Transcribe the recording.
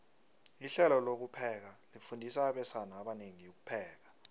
ihlelo lokupheka lifundisa abesana abanengi ukupheka